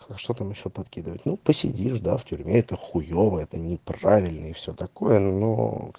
а что там ещё подкидывать ну посидишь да в тюрьме это хуёво это неправильно и всё такое но